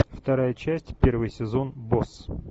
вторая часть первый сезон босс